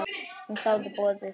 Hún þáði boðið.